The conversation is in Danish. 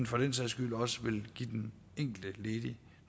for den sags skyld også vil give den enkelte ledige